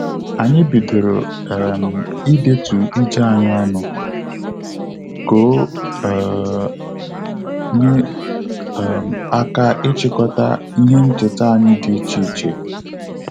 Anyị bidoro um idetu ije anyị ọnụ, ka o um nye um aka ịchịkọta ihe ncheta anyị dị iche iche